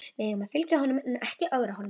Við eigum að fylgja honum en ekki ögra honum.